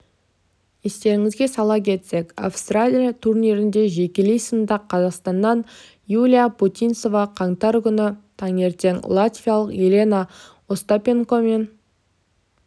естеріңізге сала кетсек австралия турнирінде жекелей сында қазақстаннан юлия путинцева қаңтар күні таңертең латвиялық елена остапенкомен